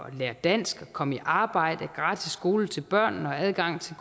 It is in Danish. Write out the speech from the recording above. at lære dansk og komme i arbejde gratis skole til børnene og adgang til